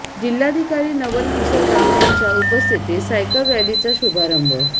जिल्हाधिकारी नवल किशोर राम यांच्या उपस्थतीत सायकल रॅलीचा शुभारंभ